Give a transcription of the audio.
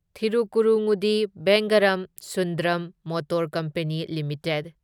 ꯊꯤꯔꯨꯛꯀꯨꯔꯨꯉꯨꯗꯤ Vengaram Sundram motor company limited